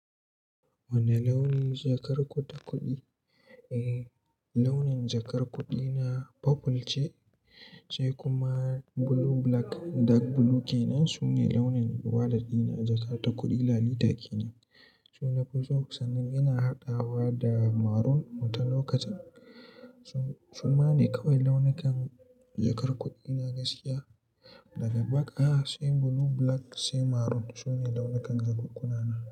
Wane launin jakar ku ta kuɗi? Eh, launin jakar kuɗi na purple ce kuma blue black dark blue ke nan. Su ne launin walat ɗina jakata kuɗi lalita ke nan, suna fi so. Sannan ina haɗawa da maroon wata lokacin. Suma ne kawai launukan jakar kuɗi na gaskiya daga baka, sai blue black sai maroon. Su ne launukan jakunkuna na.